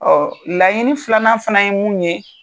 Ɔ laɲini filanan fana ye mun ye.